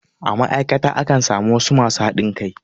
A ma'aikata akan samu wasu masu haɗin kai.